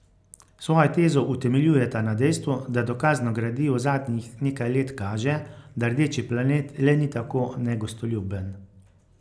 Svojo tezo utemeljujeta na dejstvu, da dokazno gradivo zadnjih nekaj let kaže, da rdeči planet le ni tako negostoljuben.